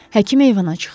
Həkim eyvana çıxdı.